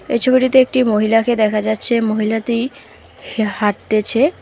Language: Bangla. এই ছবিটিতে একটি মহিলাকে দেখা যাচ্ছে মহিলাতি হা হাঁটতেছে।